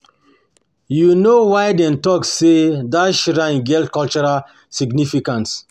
you know why them talk say that shrine get cultural significance?